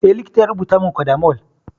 Eh, likita ya rubutamin codamol